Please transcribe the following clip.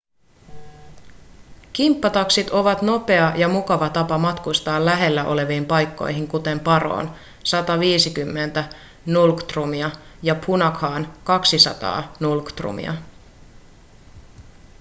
kimppataksit ovat nopea ja mukava tapa matkustaa lähellä oleviin paikkoihin kuten paroon 150 ngultrumia ja punakhaan 200 ngultrumia